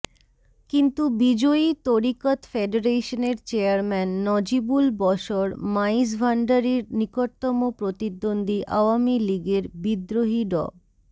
কিন্তু বিজয়ী তরিকত ফেডারেশনের চেয়ারম্যান নজিবুল বশর মাইজভাণ্ডারির নিকটতম প্রতিদ্বন্দ্বি আওয়ামী লীগের বিদ্রোহী ড